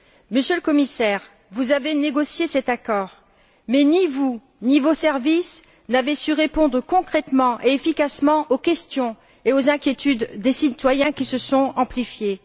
Monsieur le Commissaire, vous avez négocié cet accord, mais ni vous, ni vos services, n'avez su répondre concrètement et efficacement aux questions et aux inquiétudes des citoyens, qui se sont amplifiées.